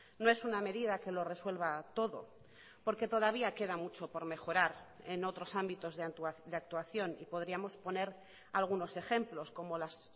no es una medida que lo resuelva todo porque todavía queda mucho por mejorar en otros ámbitos de actuación y podríamos poner algunos ejemplos como las